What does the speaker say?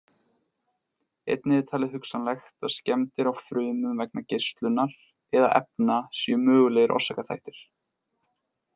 Einnig er talið hugsanlegt að skemmdir á frumum vegna geislunar eða efna séu mögulegir orsakaþættir.